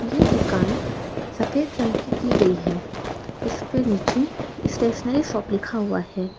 ये दुकान सफेद रंग की की गई है इसके नीचे स्टेशनरी शॉप लिखा हुआ है।